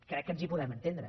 crec que ens hi podem entendre